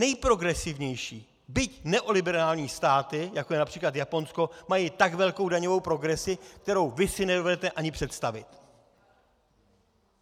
Nejprogresivnější, byť neoliberální státy, jako je například Japonsko, mají tak velkou daňovou progresi, kterou vy si nedovedete ani představit.